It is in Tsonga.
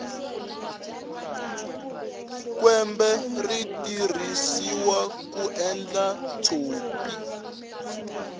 kwembe ri tirhisiwa ku endla tshopi